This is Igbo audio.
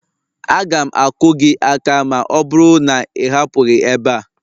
Aga m akụ gị aka ma ọ bụrụ na ị hapụghị ebe a